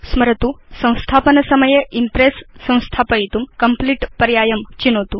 स्मरतु संस्थापनसमये इम्प्रेस् संस्थापयितुं कम्प्लीट पर्यायं चिनोतु